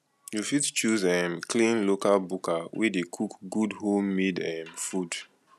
you fit choose um clean local buka wey dey cook good home made um food